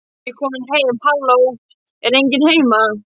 Ég er komin heim halló, er enginn heima?